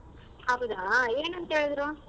ಹೌದಾ ಏನಂತ ಹೇಳಿದ್ರು?